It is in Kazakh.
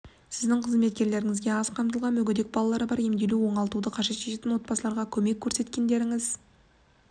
сіздің қызметкерлеріңізге аз қамтылған мүгедек балалары бар емделу мен оңалтуды қажет ететін отбасыларға көмек көрсеткендеріңіз